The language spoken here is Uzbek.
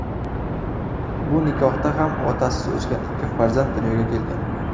Bu nikohda ham otasiz o‘sgan ikki farzand dunyoga kelgan.